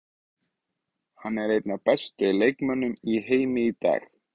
Áreynsla hefur því áhrif á nánast alla hluta líkamans.